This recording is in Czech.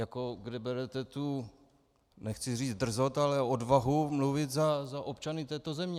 Jako kde berete tu nechci říct drzost, ale odvahu mluvit za občany této země?